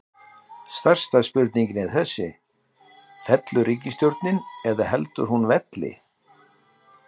Stærsta spurningin er þessi, fellur ríkisstjórnin eða heldur hún velli?